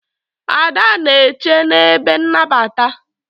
Ada na-eche n'ebe nnabata.